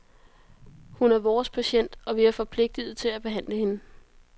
Hun er vores patient, og vi er forpligtet til at behandle hende.